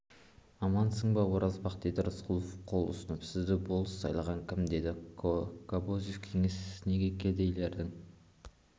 амансың ба оразбақ деді рысқұлов қол ұсынып сізді болыс сайлаған кім деді кобозев кеңес неге кедейлердің